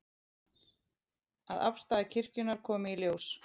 Að afstaða kirkjunnar komi í ljós